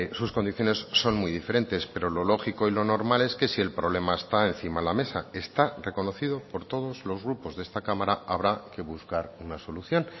sus condiciones son muy diferentes pero lo lógico y lo normal es que si el problema está encima de la mesa está reconocido por todos los grupos de esta cámara habrá que buscar una solución